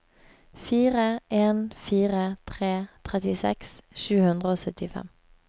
fire en fire tre trettiseks sju hundre og syttifem